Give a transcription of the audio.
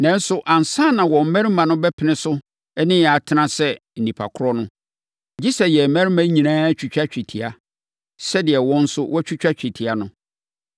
Nanso, ansa na wɔn mmarima no bɛpene so ne yɛn atena sɛ nnipa korɔ no, gye sɛ yɛn mmarima nyinaa twitwa twetia, sɛdeɛ wɔn nso wɔatwitwa twetia no.